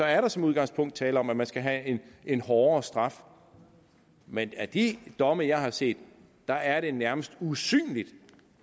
er der som udgangspunkt tale om at man skal have en hårdere straf men af de domme jeg har set er er det nærmest usynligt